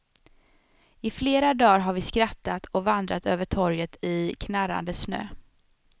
I flera dar har vi skrattat och vandrat över torget i knarrande snö.